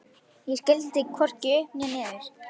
Ég skildi hvorki upp né niður.